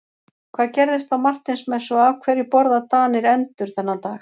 Hvað gerðist á Marteinsmessu og af hverju borða Danir endur þennan dag?